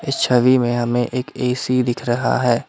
छवि में हमें एक ए_सी दिख रहा है।